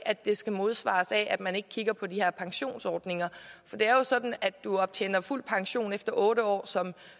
at det skal modsvares af at man ikke kigger på de her pensionsordninger det er jo sådan at du optjener fuld pension efter otte år som